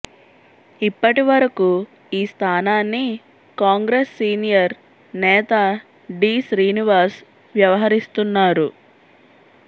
ఇప్పటివరకూ ఈ స్థానాన్ని కాంగ్రెస్ సీనియర్ నేత డీ శ్రీనివాస్ వ్యవహరిస్తున్నారు